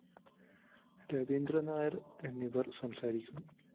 രവീന്ദ്രന്‍ നായര്‍ എന്നിവര്‍ സംസാരിക്കും